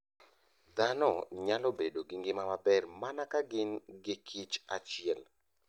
Dhano nyalo bedo gi ngima maber mana ka gin gi kich achiel.